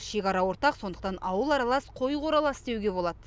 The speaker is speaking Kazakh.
шекара ортақ сондықтан ауылы аралас қойы қоралас деуге болады